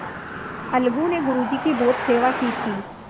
अलगू ने गुरु जी की बहुत सेवा की थी